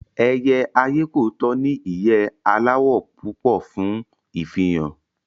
Ẹyẹ ayékòótọ́ ní ìyẹ́ aláwọ̀ púpọ̀ fún ìfihàn